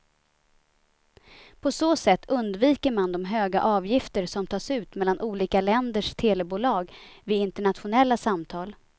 På så sätt undviker man de höga avgifter som tas ut mellan olika länders telebolag vid internationella samtal.